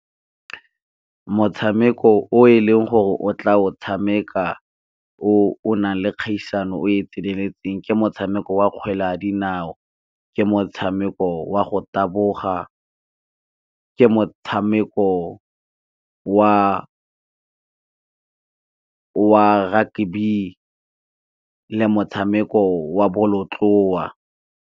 Motshameko o e leng gore o tla o tshameka o o nang le kgaisano o e tseneletseng, ke motshameko wa kgwele ya dinao, ke motshameko wa go taboga, ke motshameko wa rugby le motshameko wa bolotloa.